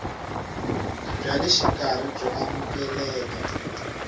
bya le xikarhi byo amukeleka